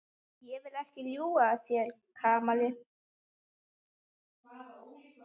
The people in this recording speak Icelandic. Ég vil ekki ljúga að þér, Kamilla.